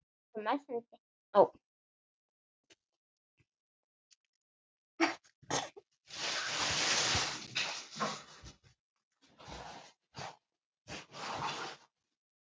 Bókin Andlit er ætluð öllum.